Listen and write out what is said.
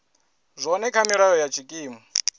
zwone kha milayo ya tshikimu